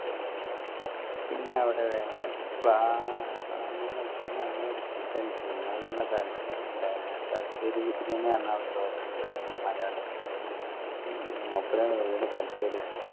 പിന്നെ അവിടെ നല്ല ഉച്ചക്ക് നല്ല ഒരു food കഴിച്ചിന് നമ്മളെ തലശ്ശേരി തലശ്ശേരി ബിരിയാണി hotel ഇണ്ടായ്നു മലയാളീസിന്റെ മൂപ്പരെ വീട് തലശ്ശേരി